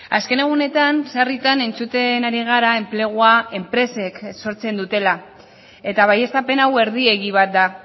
azken egunetan sarritan entzuten ari gara enplegua enpresek sortzen dutela eta baieztapen hau erdi egi bat da